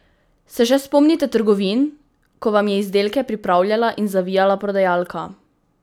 Se še spomnite trgovin, ko vam je izdelke pripravljala in zavijala prodajalka?